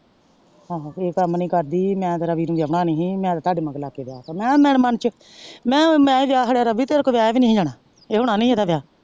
ਆਹੋ ਇਹ ਕੰਮ ਨੀ ਕਰਦੀ ਮੈਂ ਵਿਔਹਣਾ ਨਹੀਂ ਸੀ ਮੈਂ ਤੇ ਤਾੜੇ ਮਗਰ ਲੱਗ ਕ ਵਿਆਹ ਤਾ ਮੈਂ ਕਿਹਾ ਮੇਰੇ ਮਾਨ ਚ ਮੈਂ ਹੀ ਵਿਆਹ ਚੜ੍ਹਿਆ ਰੱਬੀ ਤਰਕੋਲੋ ਵਿਆਹਿਆ ਵੀ ਨੀ ਸੀ ਜਾਣਾ ਹੋਣਾ ਨਹੀਂ ਸੀ ਇਹਦਾ ਵਿਆਹ।